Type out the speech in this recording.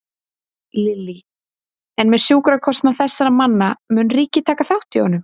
Lillý: En með sjúkrakostnað þessara manna, mun ríkið taka þátt í honum?